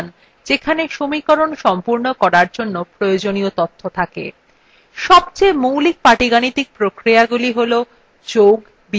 সবচেয়ে মৌলিক পাটীগাণিতিক প্রক্রিয়া গুলি হলযোগ বিয়োগ গুণ ও ভাগ